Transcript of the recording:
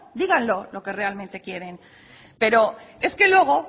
díganlo lo que realmente quieren pero es que luego